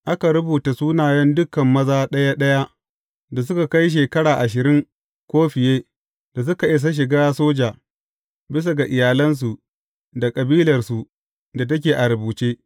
Aka rubuta sunayen dukan maza ɗaya ɗaya da suka kai shekara ashirin ko fiye da suka isa shiga soja, bisa ga iyalansu da kabilarsu da take a rubuce.